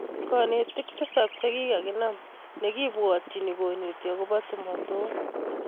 Kanetik tisap chekakinam nekipwotchin konetii agopoo tumotok